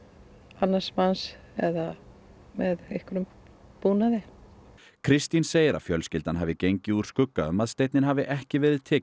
annars manns eða með einhverjum búnaði Kristín segir að fjölskyldan hafi gengið úr skugga um að steinninn hafi ekki verið tekinn